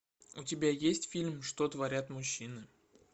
у тебя есть фильм что творят мужчины